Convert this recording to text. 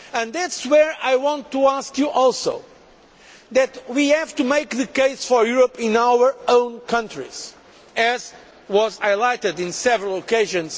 That is where I want to ask you also to make the case for Europe in our own countries, as was highlighted on several occasions.